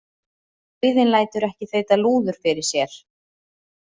Dauðinn lætur ekki þeyta lúður fyrir sér.